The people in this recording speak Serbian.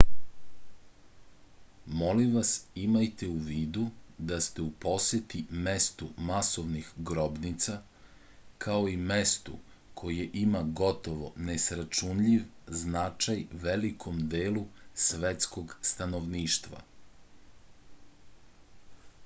molim vas imajte u vidu da ste u poseti mestu masovnih grobnica kao i mestu koje ima gotovo nesračunljiv značaj velikom delu svetskog stanovništva